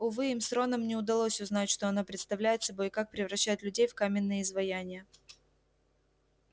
увы им с роном не удалось узнать что оно представляет собой и как превращает людей в каменные изваяния